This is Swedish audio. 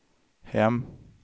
hem